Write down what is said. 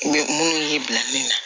minnu y'i bila min na